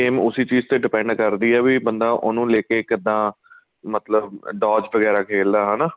ਉਸੀ ਚੀਜ਼ ਦੇ depend ਕਰਦੀ ਏ ਵੀ ਬੰਦਾ ਉਹਨੂੰ ਲੈ ਕੇ ਕਿੱਦਾਂ ਮਤਲਬ douche ਵਗੈਰਾ ਖੇਲਦਾ ਹਨਾ